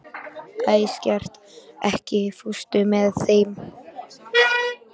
Æsgerður, ekki fórstu með þeim?